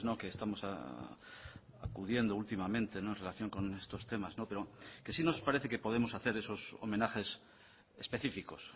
que estamos acudiendo últimamente en relación con estos temas pero que sí nos parece que podemos hacer esos homenajes específicos